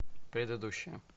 предыдущая